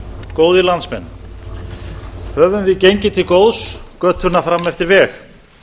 góðir landsmenn höfum við gengið til góðs götuna fram eftir veg